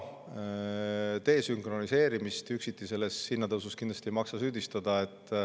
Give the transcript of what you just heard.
Desünkroniseerimist üksiti selles hinnatõusus kindlasti ei maksa süüdistada.